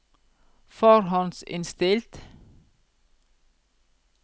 forhåndsinnstilt